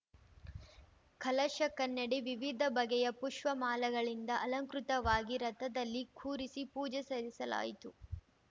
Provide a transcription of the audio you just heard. ಕಲಶ ಕನ್ನಡಿ ವಿವಿಧ ಬಗೆಯ ಪುಷ್ಪ ಮಾಲೆಗಳಿಂದ ಅಲಂಕೃತವಾಗಿ ರಥದಲ್ಲಿ ಕೂರಿಸಿ ಪೂಜೆ ಸಲ್ಲಿಸಲಾಯಿತು